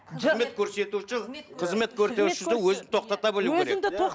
қызмет көрсетуші өзін тоқтата білуі керек